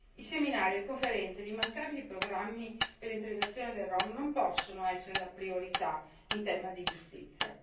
I seminari, le conferenze e gli immancabili programmi per l'integrazione dei rom non possono essere la priorità in tema di giustizia.